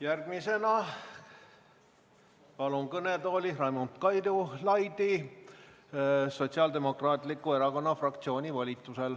Järgmisena palun kõnetooli Raimond Kaljulaiu Sotsiaaldemokraatliku Erakonna fraktsiooni volitusel.